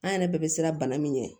An yɛrɛ bɛɛ bɛ siran bana min ɲɛ